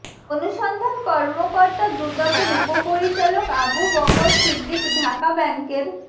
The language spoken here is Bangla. অনুসন্ধান কর্মকর্তা দুদকের উপপরিচালক আবু বকর সিদ্দিক ঢাকা ব্যাংকের